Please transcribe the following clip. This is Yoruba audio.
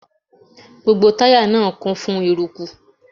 Gbogbo táyà náà kún fún eruku.